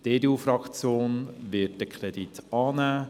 Die EDU-Fraktion wird diesen Kredit annehmen.